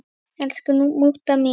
Elsku mútta mín.